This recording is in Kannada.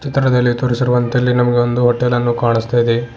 ಚಿತ್ರದಲ್ಲಿ ತೋರಿಸಿರುವಂತೆ ಇಲ್ಲಿ ನಮಗೆ ಒಂದು ಹೋಟೆಲ್ ಅನ್ನು ಕಾಣಸ್ತಾ ಇದೆ.